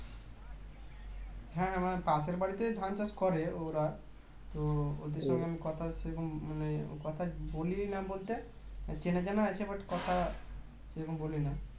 হ্যাঁ পাশের বাড়িতে ধান চাষ করে ওরা তো ওদের সঙ্গে কথা সেরকম মানে কথা বলিই না বলতে চেনা জানা আছে but কথা সেরকম বলি না